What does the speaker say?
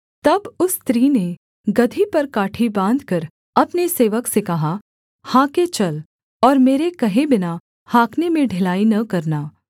तब उस स्त्री ने गदही पर काठी बाँधकर अपने सेवक से कहा हाँके चल और मेरे कहे बिना हाँकने में ढिलाई न करना